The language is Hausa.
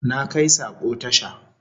Na kai sako tasha